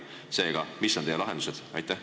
Seega, mis on teie lahendused?